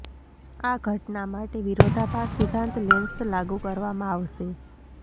આ ઘટના માટે વિરોધાભાસ સિધ્ધાંત લેન્સ લાગુ કરવામાં આવશે